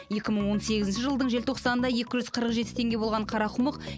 екі мың он сегізінші жылдың желтоқсанында екі жүз қырық жеті теңге болған қарақұмық